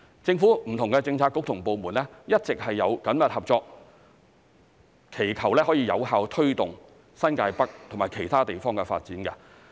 政府不同的政策局及部門一直有緊密合作，以有效推動新界北及其他地方的發展。